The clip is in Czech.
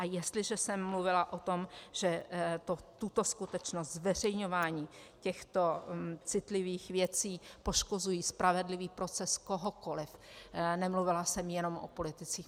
A jestliže jsem mluvila o tom, že tyto skutečnosti, zveřejňování těchto citlivých věcí, poškozují spravedlivý proces kohokoliv, nemluvila jsem jenom o politicích.